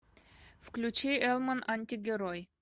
включи элман антигерой